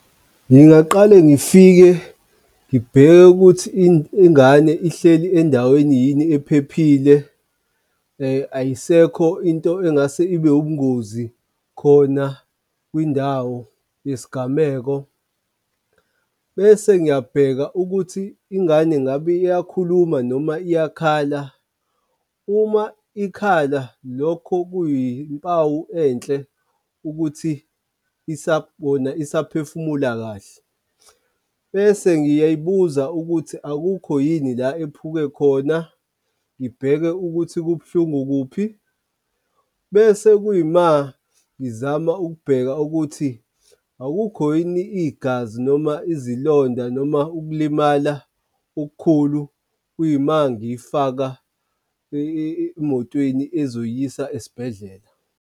Ngingaqale ngifike ngibheke ukuthi ingane ihleli endaweni yini ephephile ayisekho into engase ibe ubungozi khona kwindawo yesigameko. Bese ngiyabheka ukuthi ingane ngabe iyakhuluma noma iyakhala, uma ikhala lokho kuyimpawu enhle ukuthi isaphefumula kahle. Bese ngiyayibuza ukuthi akukho yini la ephike khona, ngibheke ukuthi kubuhlungu kuphi, bese kuyima ngizama ukubheka ukuthi akukho yini igazi noma izilonda noma ukulimala okukhulu kuyima ngiyifaka emotweni ezoyisa esibhedlela.